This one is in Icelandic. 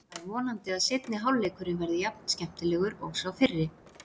Það er vonandi að seinni hálfleikurinn verði jafn skemmtilegur og sá fyrri.